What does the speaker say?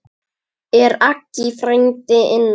Er Aggi frændi inná?